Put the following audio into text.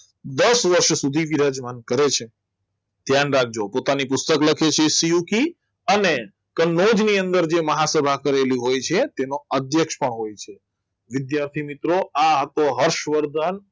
દસ વર્ષ સુધી વિરાજમાન કરે છે ધ્યાન રાખજો પોતાની પુસ્તક લખે છે શિવખી અને કનોજ ની અંદર જે મહાસભા કરેલી હોય છે તેનો અધ્યક્ષ પણ હોય છે વિદ્યાર્થી મિત્રો આ હતો હર્ષવર્ધન